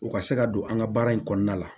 U ka se ka don an ka baara in kɔnɔna la